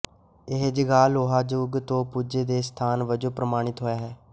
ਇਹ ਜਗਾਹ ਲੋਹਾ ਜੁੱਗ ਤੋਂ ਪੂਜਾ ਦੇ ਸਥਾਨ ਵਜੋਂ ਪ੍ਰਮਾਣਿਤ ਹੋਈ ਹੈ